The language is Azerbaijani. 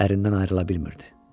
Ərindən ayrıla bilmirdi.